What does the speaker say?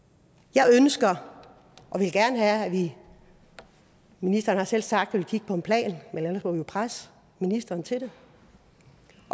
jeg ønsker og vil gerne have at vi ministeren har selv sagt vil kigge på en plan men ellers må vi jo presse ministeren til det